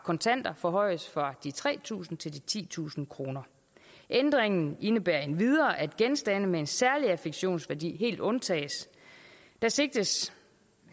kontanter forhøjes fra de tre tusind kroner til titusind kroner ændringen indebærer endvidere at genstande med en særlig affektionsværdi helt undtages der sigtes